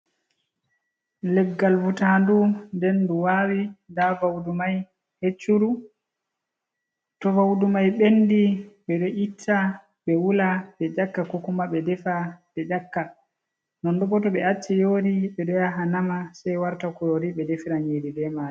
Leggal vutandu, nɗen du waawi, nɗa vaudu mai hecchuru, to vaudu mai ɓendi ɓe do itta ɓe wula ɓe nƴakka, ko kuma ɓe defa be nƴakka non boto ɓe acci yori ɓe ɗo ya ha nama sei warta kurori ɓe defira nyiri ɓe mari.